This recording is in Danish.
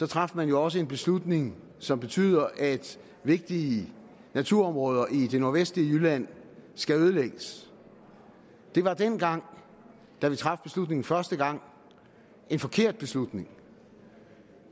traf man jo også en beslutning som betyder at vigtige naturområder i det nordvestlige jylland skal ødelægges det var dengang da vi traf beslutningen første gang en forkert beslutning